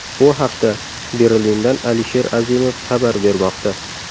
Bu haqda Berlindan Alisher Azimov xabar bermoqda.